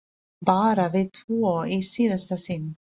Bara við tvö í síðasta sinn.